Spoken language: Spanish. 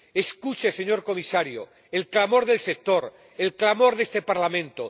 Escuche, señor Comisario, el clamor del sector, el clamor de este Parlamento.